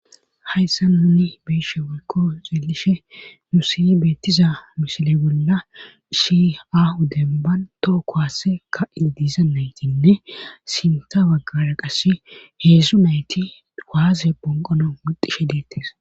Hayssa nuni beeshe walko xeelishe nu siy beettiza misile bolla ishi ahu denban too kowaase ka7i diiza naytinne sinta baggara qasse heedzdzu nayti waase ponqono mixishe deettes